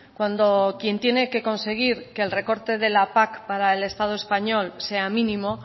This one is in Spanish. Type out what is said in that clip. cuando quien tiene que conseguir que el recorte de la pac para el estado español sea mínimo